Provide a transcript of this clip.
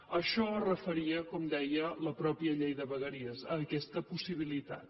a això es referia com deia la mateixa llei de vegueries a aquesta possibilitat